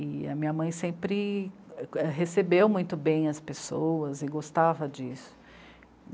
E a minha mãe sempre recebeu muito bem as pessoas e gostava disso.